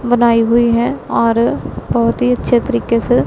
बनाई हुई है और बहोत ही अच्छे तरीके से--